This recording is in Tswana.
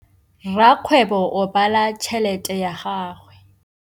Rakgwêbô o bala tšheletê ya gagwe.